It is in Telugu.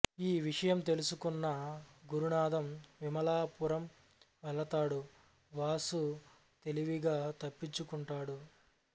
ఈ విషయం తెలుసుకున్న గురునాథం విమలా పురం వెళతాడు వాసు తెలివిగా తప్పించుకుంటాడు